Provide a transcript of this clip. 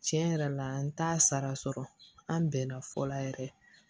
Tiɲɛ yɛrɛ la an t'a sara sɔrɔ an bɛnna fɔ la yɛrɛ